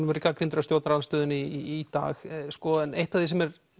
verið gagnrýndur af stjórnarandstöðunni í dag eitt af því sem er